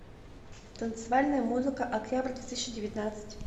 танцевальная музыка октябрь две тысячи девятнадцать